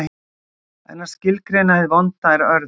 En að skilgreina hið vonda er örðugt.